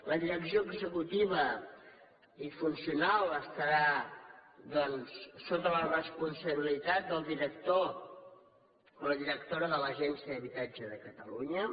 la direcció executiva i funcional estarà doncs sota la responsabilitat del director o la directora de l’agència de l’habitatge de catalunya